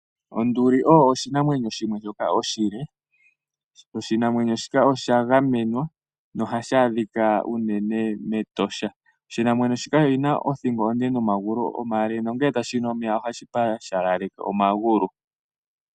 Onduli oyo oshinamwenyo shimwe shika oshile. Oshinamwenyo shika osha gamenwa, nohashi adhika unene mEtosha. Oshinamwenyo shika oshina othingo onde nomagulu omale, nongele tashi nu omeya ohashi pashaleleke omagulu.